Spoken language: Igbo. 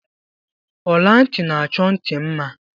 Ola nti n'achọ nti mma